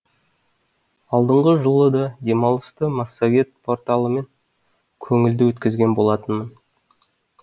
алдыңғы жылы да демалысты массагет порталымен көңілді өткізген болатынмын